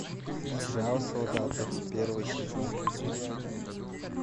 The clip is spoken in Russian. сериал солдаты первый сезон